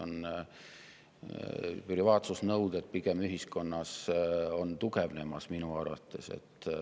Privaatsusnõuded on ühiskonnas pigem tugevnemas minu arvates.